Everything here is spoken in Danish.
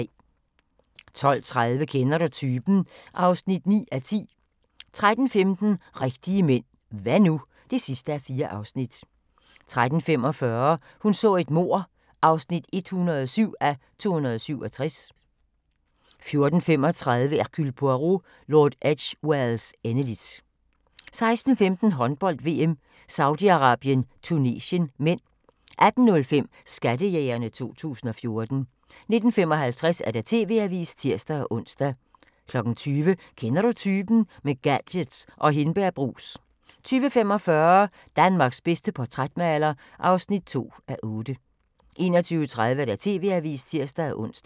12:30: Kender du typen? (9:10) 13:15: Rigtige mænd – hva' nu? (4:4) 13:45: Hun så et mord (107:267) 14:35: Hercule Poirot: Lord Edgwares endeligt 16:15: Håndbold: VM - Saudi-Arabien - Tunesien (m) 18:05: Skattejægerne 2014 19:55: TV-avisen (tir-ons) 20:00: Kender du typen? – med gadgets og hindbærbrus 20:45: Danmarks bedste portrætmaler (2:6) 21:30: TV-avisen (tir-ons)